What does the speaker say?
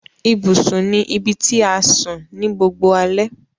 Ibùsùn ní ibití a sùn ní gbogboo alè.